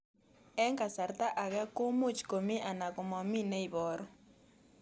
Eng' kasarta ag'e ko much ko mii anan komamii ne ibaru